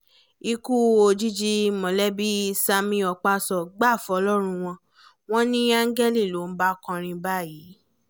ikú òjijì mólébé sammie okpaso gbà fọlọ́run wọn wọn ni áńgẹ́lì ló ń bá kọrin báyìí